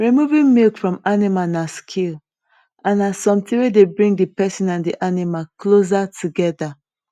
removing milk from animal na skill and na something wey dey bring the person and the animal closer together